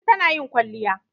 Lanti tana yin kwalliya.